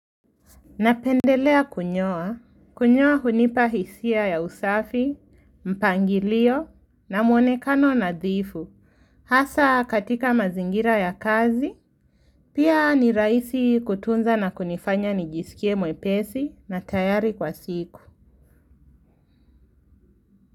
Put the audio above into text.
Napendelea kunyoa, kunyoa hunipa hisia ya usafi, mpangilio na mwonekano nadhifu, hasa katika mazingira ya kazi, pia ni rahisi kutunza na kunifanya nijisikie mwepesi na tayari kwa siku.